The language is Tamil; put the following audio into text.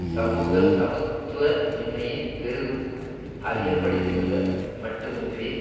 சமூக சமத்துவமின்மையை பெரிதும் அதிகப்படுத்தியுள்ள மட்டுமின்றி